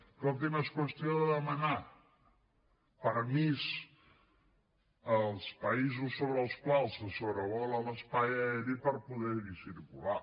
escolti’m és qüestió de demanar permís als països sobre els quals se sobrevola l’espai aeri per poder hi circular